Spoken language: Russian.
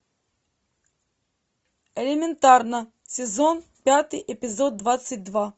элементарно сезон пятый эпизод двадцать два